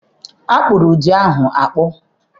Akpụrụ udu ahụ akpụ.